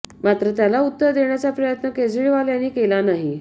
मात्र त्याला उत्तर देण्याचा प्रयत्न केजरीवाल यांनी केला नाही